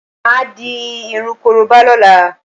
Máà di irun korobá lọ́la